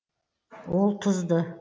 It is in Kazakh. ол тұзды